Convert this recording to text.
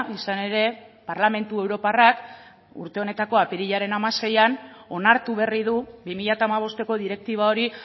izan ere parlamentu europarrak urte honetako apirilaren hamaseian onartu berri du bi mila hamabosteko direktiba hori